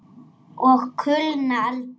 Og kulna aldrei.